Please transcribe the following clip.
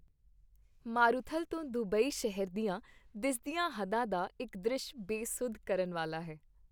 ਮਾਰੂਥਲ ਤੋਂ ਦੁਬਈ ਸ਼ਹਿਰ ਦੀਆਂ ਦਿਸਦਿਆਂ ਹੱਦਾ ਦਾ ਇੱਕ ਦ੍ਰਿਸ਼ ਬੇਸੁੱਧ ਕਰਨ ਵਾਲਾ ਹੈ।